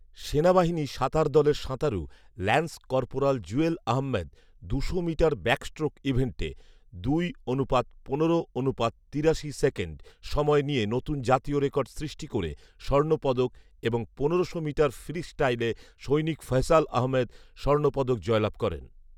সেনাবাহিনী সাঁতার দলের সাঁতারু ল্যান্স কর্পোরাল জুয়েল আহম্মেদ দুশো মিটার ব্যাক স্ট্রোক ইভেন্টে দুই অনুপাত পনেরো অনুপাত তিরাশি সেকেন্ড সময় নিয়ে নতুন জাতীয় রেকর্ড সৃষ্টি করে স্বর্ণ পদক এবং পনেরোশো মিটার ফ্রি স্টাইলে সৈনিক ফয়সাল আহম্মেদ স্বর্ণপদক জয়লাভ করেন